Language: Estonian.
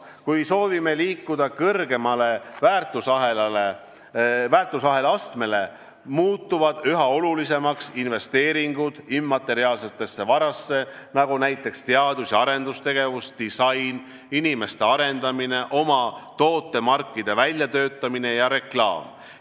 Kui soovime liikuda kõrgemale väärtusahela astmele, muutuvad üha olulisemaks investeeringud immateriaalsesse varasse, nagu teadus- ja arendustegevus, disain, inimeste arendamine, oma tootemarkide väljatöötamine ja reklaam.